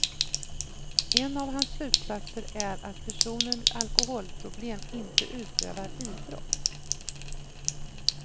En av hans slutsatser är att personer med alkoholproblem inte utövar idrott.